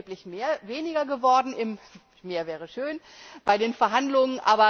Es ist erheblich weniger geworden mehr wäre schön bei den Verhandlungen.